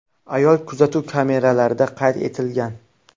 Ayol kuzatuv kameralarida qayd etilgan.